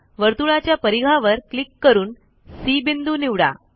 वर्तुळाच्या परिघावर क्लिक करून सी बिंदू निवडा